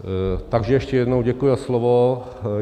Takže ještě jednou děkuji za slovo.